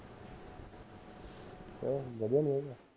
ਕਿਓਂ ਵਧੀਆ ਨਹੀਂ ਹੈਗਾ